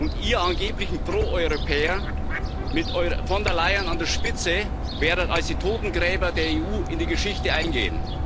Und Ihr angeblichen Pro Europäer, mit von der Leyen an der Spitze, werdet als die Totengräber der EU in die Geschichte eingehen.